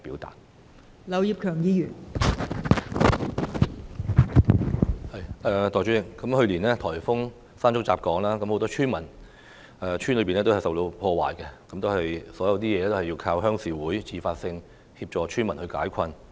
代理主席，去年颱風山竹吹襲香港，很多村屋受到破壞，一切都要靠鄉事會自發性協助村民解困。